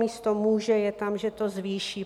Místo "může" je tam, že to zvýší.